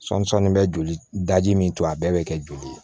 Sɔɔni sɔɔni bɛ joli daji min to a bɛɛ bɛ kɛ joli ye